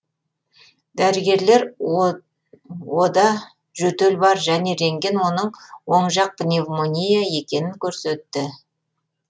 дәрігерлер ода жөтел бар және рентген оның оң жақты пневмония екенін көрсетті